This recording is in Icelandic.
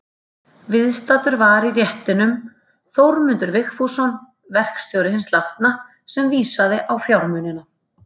Viðstaddur var í réttinum Þórmundur Vigfússon, verkstjóri hins látna, sem vísaði á fjármunina.